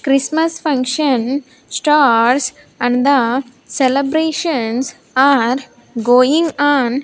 christmas function starts and the celebrations are going on.